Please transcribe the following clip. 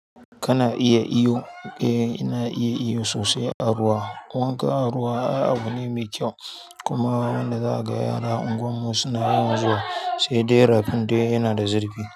Kana iya iyo? Eh, ina iya iyo sosai a ruwa. Wanka a ruwa ai abu ne mai kyau kuma wanda za a ga yaran unguwar mu suna yawan zuwa sai dai rafin dai yana da zirfi.